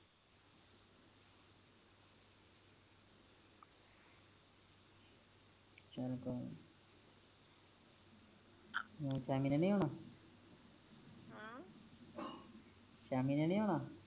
ਸ਼ੈਮੀ ਨੇ ਨੀ ਆਉਣਾ ਸ਼ਾਮੀ ਨੇ ਆਉਣਾ